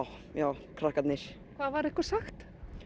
já krakkarnir hvað var ykkur sagt